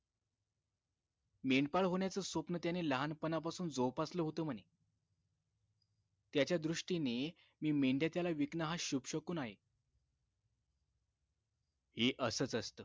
मेंढपाळ होण्याचं स्वप्न त्याने लहान पनापासून जोपासलं होत म्हणे त्याच्या दृष्टीने मी मेंढ्या त्याला विकन शुभ शकुन आहे हे असच असत